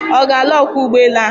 Ọ ga-alụ ọkwọ ụgbọelu ahụ?